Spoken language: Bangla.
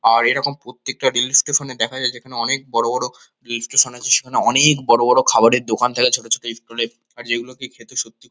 আর এরকম প্রত্যেকটা রেল স্টেশন -এ দেখা যায়। যেখানে বড়ো বড়ো রেল স্টেশন আছে সেখানে অনেক বড়ো বড়ো খাওয়ারের দোকান থাকে ছোটো ছোটো স্টল -এ আর যেই গুলোকে খেতে সত্যি --